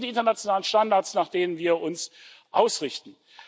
Das sind die internationalen Standards, nach denen wir uns richten.